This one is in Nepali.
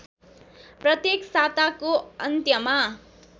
प्रत्येक साताको अन्त्यमा